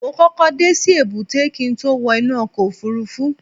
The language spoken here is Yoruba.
mo kókó dé sí èbúté kí n tó wọ inú ọkọ̀ òfurufú